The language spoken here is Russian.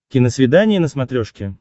киносвидание на смотрешке